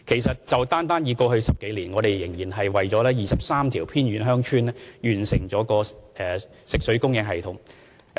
單在過去10多年，我們已為23條偏遠鄉村完成食水供應系統。